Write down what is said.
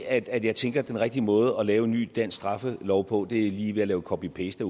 at jeg tænker at den rigtige måde at lave en ny dansk straffelov på er ved lige at lave copy paste